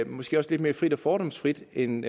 måske også lidt mere frit og fordomsfrit end